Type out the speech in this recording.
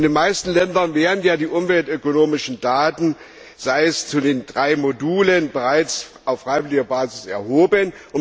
In den meisten Ländern werden ja die umweltökonomischen Daten sei es zu den drei Modulen bereits auf freiwilliger Basis erhoben.